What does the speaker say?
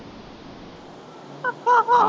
அஹ்